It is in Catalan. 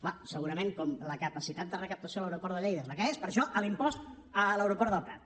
bé segurament com la capacitat de recaptació a l’aeroport de lleida és la que és per això l’impost a l’aeroport del prat